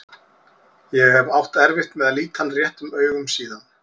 Ég hef átt erfitt með að líta hann réttum augum síðan.